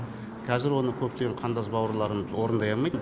қазір оны көптеген қандас бауырларымыз орындай алмайтын